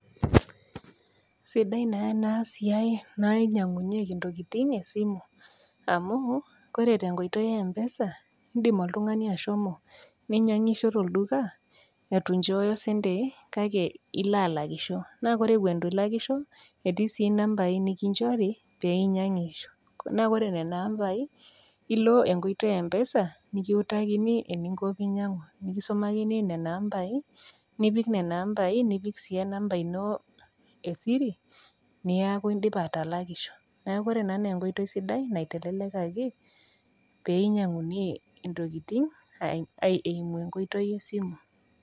Sidai naa enasiai nainyangunyieki ntokitin tesimu amu ,koree tenkoitoi e empesa indim oltungani ashomo ninyangisho tolduka itunchoooyo sentii kake iloalakisho, na ore itulakisho the etii sii nambai nikinchori peinyangisho, kuna ore nona ambai ,ilo enkoitoi e empesa kiutakini einko peinyangishore isumakini nona ambai nipik nona ambai nipiki siyie enamba ino e pin neaku indipa atalakisho, neaku ore ena naa enkoitoi sida naiteleliaki peinyangunyie ntokitin aidimie enkoitoi esimu.